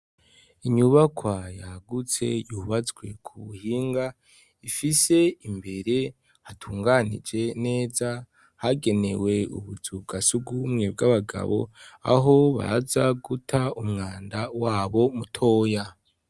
Inyubakwa yagutse yubatswe ku buhinga ifise imbere hatunganije neza hagenewe ubuzu bwa sugumwe bw'abagabo aho baza guta umwanda wabo mutoya.